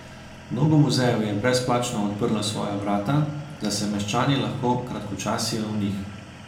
Mnogo muzejev je brezplačno odprlo svoja vrata, da se meščani lahko kratkočasijo v njih.